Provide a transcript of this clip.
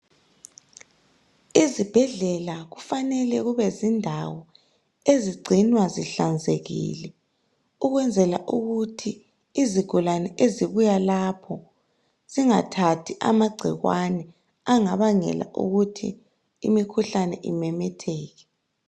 Izibhedlela kufanele kube zindawo ezigcinwa zihlanzekile ukwenzela ukuthi izigulane ezibuya lapho zingathathi amagcikwane angabangela ukuthi imikhuhlane imemetheke.